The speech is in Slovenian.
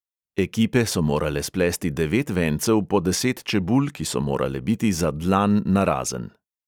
Ekipe so morale splesti devet vencev po deset čebul, ki so morale biti za dlan narazen.